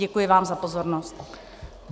Děkuji vám za pozornost.